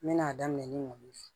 N mɛna daminɛ ni mun ye